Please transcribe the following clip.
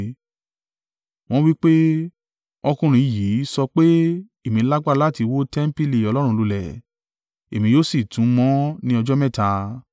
Wọn wí pé, “Ọkùnrin yìí sọ pé, ‘Èmi lágbára láti wó tẹmpili Ọlọ́run lulẹ̀, èmi yóò sì tún un mọ ní ọjọ́ mẹ́ta.’ ”